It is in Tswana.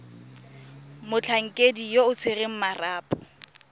motlhankedi yo o tshwereng marapo